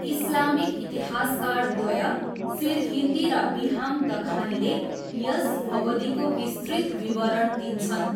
Islamic इतिहासकारद्वय सिरहिन्दी र बिहामदखानीले यस अवधिको विस्तृत विवरण दिन्छन्।